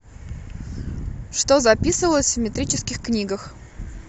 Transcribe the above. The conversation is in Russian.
что записывалось в метрических книгах